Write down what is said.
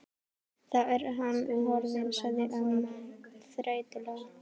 Þá er hann horfinn sagði amman þreytulega.